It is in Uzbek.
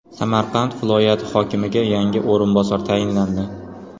Samarqand viloyati hokimiga yangi o‘rinbosar tayinlandi.